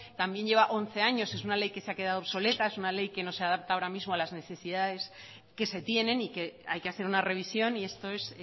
también lleva once años es una ley que se ha quedado obsoleta es una ley que no se adapta ahora mismo a las necesidades que se tienen y que hay que hacer una revisión y esto es